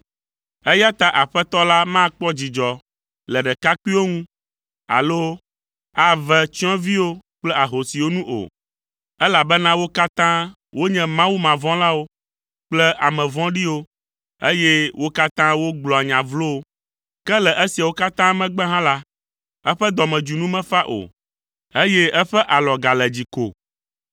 Eya ta Aƒetɔ la makpɔ dzidzɔ le ɖekakpuiwo ŋu alo ave tsyɔ̃eviwo kple ahosiwo nu o, elabena wo katã wonye mawumavɔ̃lawo kple ame vɔ̃ɖiwo eye wo katã wogblɔa nya vlowo. Ke le esiawo katã megbe hã la, eƒe dɔmedzoe nu mefa o, eye eƒe alɔ gale dzi ko.